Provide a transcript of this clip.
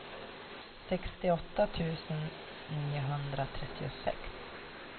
sextioåtta tusen niohundratrettiosex